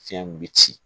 Fiɲɛ in be ci